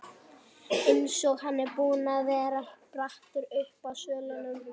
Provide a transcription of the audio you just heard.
Eins og hann var búinn að vera brattur uppi á svölunum.